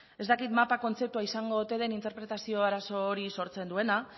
ez dakit mapa kontzeptua izango ote den interpretazio arazo hori sortzen duena